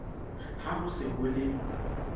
ha ho se ho le